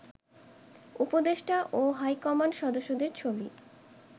উপদেষ্টা ও হাইকমান্ড সদস্যদের ছবি